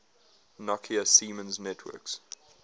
nokia siemens networks